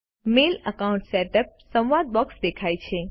mail account setup સંવાદ box દેખાય છે